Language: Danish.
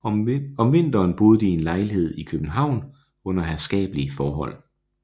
Om vinteren boede de i en lejlighed i København under herskabelige forhold